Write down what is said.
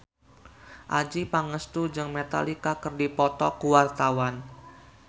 Adjie Pangestu jeung Metallica keur dipoto ku wartawan